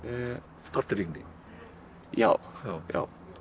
tortryggni já já